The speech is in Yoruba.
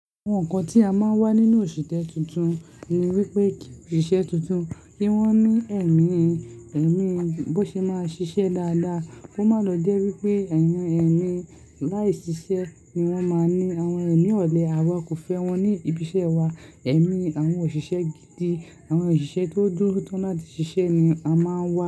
Àwọn nǹkan tí a máa ń wà nínú òṣìtẹ́ tuntun ni wípé ìṣe tuntun kí wón ní ẹ̀mí, ẹ̀mí bó ṣe máa ṣiṣẹ́ dáadáa kó máa lọ jẹ́ wípé ẹ̀yàn ẹ̀mí láì ṣiṣẹ́ ni wón máa ń ní. Àwọn ẹ̀mí ọ̀lẹ àwa kò fẹ́ wọn ní ibi iṣẹ́ wa. Ẹ̀mí àwọn òṣìṣẹ́ gidi, àwọn òṣìṣẹ́ tó dúró tán láti ṣiṣẹ́ ni a máa ń wà.